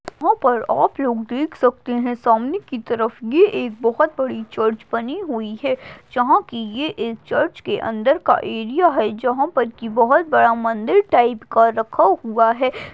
वहा पर आप लोग देख सकते हैं सामने की तरफ यह एक बहुत बड़ी चर्ज बनी हुई है जहां की यह इस चर्च के अंदर का एरिया है जहां पर की बहुत बड़ा मंदिर टाइप का रखा हुआ है ।